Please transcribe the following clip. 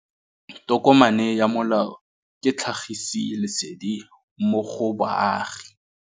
Tokomane ya molao ke tlhagisi lesedi go baagi.